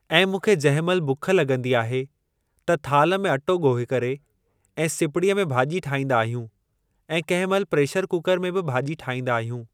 ऐं मूंखे जंहिं महिल बुख लॻंदी आहे त थाल में अटो गोए करे ऐं सिपड़ीअ में भाॼी ठाईंदा आहियूं ऐं कंहिं महिल प्रेशर कुकर में बि भाॼी ठाईंदा आहियूं।